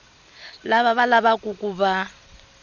lava va lavaku ku va